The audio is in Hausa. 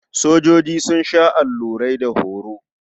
Sojoji sun sha allurai da horo.